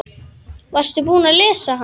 Varstu búinn að lesa hann?